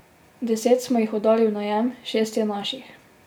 Deset smo jih oddali v najem, šest je naših.